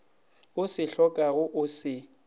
o se hlokago o se